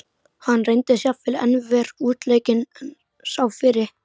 Hann reyndist jafnvel enn verr útleikinn en sá fyrri.